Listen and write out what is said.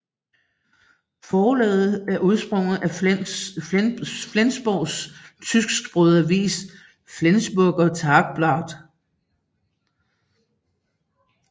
Forlaget er udsprunget af Flensborgs tysksprogede avis Flensburger Tageblatt